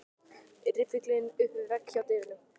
Riffillinn upp við vegg hjá dyrunum.